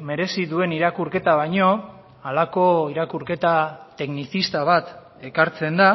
merezi duen irakurketa baino halako irakurketa teknizista bat ekartzen da